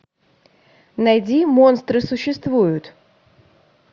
найди монстры существуют